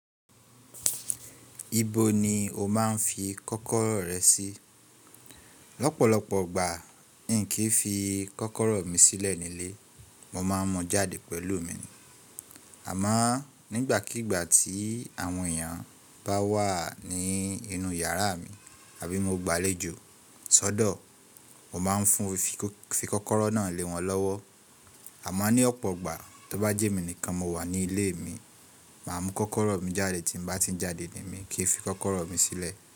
Ibo ni o máa ń fi kọ́kọ́rọ́ rẹ sí? Lọ́pọ̀lọpọ̀ ọgbà, n kì í fi kọ́kọ́rọ́ mi sílẹ̀ nílé, mo ma mọ jáde pẹ̀lú mi, àmọ́ nígbàkígbà tí àwọn èèyàn bá wà ní inú yàrá mi àbí mo gba àlejò sọ́dọ̀, mo máa ń fùn fi kọ́kọ́rọ́ náà lé wọn lọ́wọ́. Àmọ́ ní ọ̀pọ̀ ọgbà tó bá jẹ́ mi nìkan mo wà ní ilé mi, màá mú kọ́kọ́rọ́ mi jáde tí mo bá ti ń jáde ní mí kí fi kọ́kọ́rọ́ mi sílẹ̀.